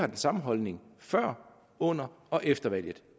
den samme holdning før under og efter valget